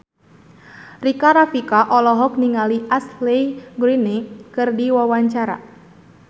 Rika Rafika olohok ningali Ashley Greene keur diwawancara